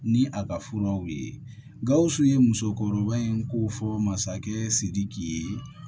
Ni a ka furaw ye gawusu ye musokɔrɔba in ko fɔ masakɛ sidiki ye